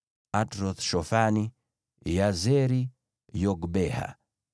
Atroth-Shofani, Yazeri, Yogbeha,